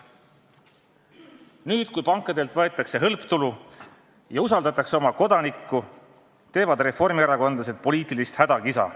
Nüüd, kui pankadelt võetakse hõlptulu ja usaldatakse kodanikku, teevad reformierakondlased poliitilist hädakisa.